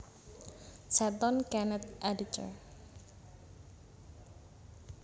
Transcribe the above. Setton Kenneth editor